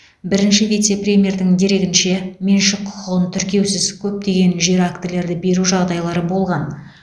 бірінші вице премьердің дерегінше меншік құқығын тіркеусіз көптеген жер актілерді беру жағдайлары болған